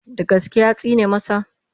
Da gaske ya tsine masa?